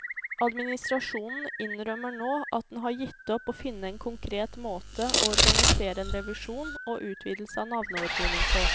Administrasjonen innrømmer nå at den har gitt opp å finne en konkret måte å organisere en revisjon og utvidelse av navneordningen på.